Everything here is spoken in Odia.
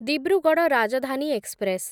ଦିବ୍ରୁଗଡ଼ ରାଜଧାନୀ ଏକ୍ସପ୍ରେସ୍